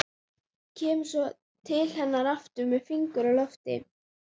Kemur svo til hennar aftur með fingur á lofti.